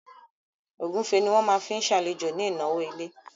Ògúnfe ni wọ́n máa fi ṣàlejò ní ìnáwó ilé